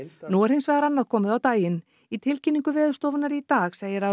nú er hins vegar annað komið á daginn í tilkynningu Veðurstofunnar í dag segir að